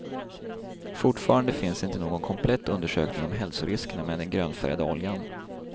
Fortfarande finns inte någon komplett undersökning om hälsoriskerna med den grönfärgade oljan.